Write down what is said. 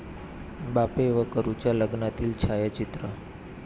बापे व करुच्या लग्नातील छायाचित्र.